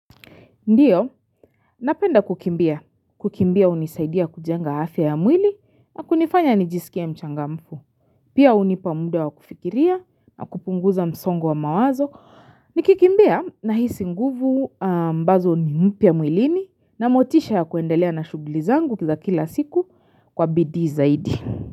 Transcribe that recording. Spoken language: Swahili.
Ndiyo, napenda kukimbia. Kukimbia unisaidia kujenga afya ya mwili na kunifanya nijisikia mchangamfu. Pia unipa muda wa kufikiria na kupunguza msongo wa mawazo. Nikikimbia nahisi nguvu mbazo ni mpya mwilini na motisha ya kuendelea na shughuli zangu kwa kila siku kwa bidii zaidi.